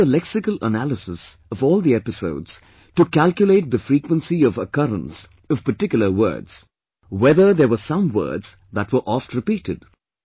They did a lexical analysis of all the episodes to calculate the frequency of occurrence of particular words; whether there were some words that were oftrepeated